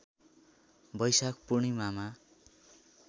बैशाख पूर्णिमामा